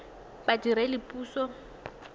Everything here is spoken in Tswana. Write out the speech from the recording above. badiredipuso